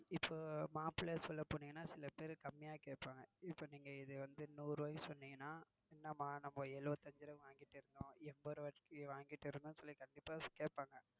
இப்போ mop ல சொல்ல போனீங்கன்னா சில பேர் கம்மியா கேப்பாங்க. இப்போ நீங்க இத நூறு ரூபனு சொன்னீங்கன்னா என்னமா நாங்க எழுபத்தியந்து ரூபாய்க்கு வாங்கிட்டு இருந்தோம் என்பது ரூபாய்க்கு வாங்கிட்டு இருந்தோம்னு கண்டிப்பா கேப்பாங்க.